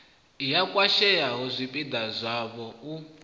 ya khwashea zwipida zwavho u